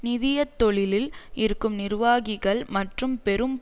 நிதிய தொழிலில் இருக்கும் நிர்வாகிகள் மற்றும் பெரும்